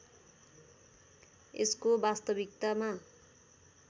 यसको वास्तविकतामा